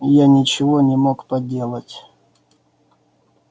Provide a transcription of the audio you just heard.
а я ничего не мог поделать